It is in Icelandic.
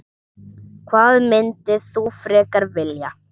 Hvað myndir þú frekar vilja?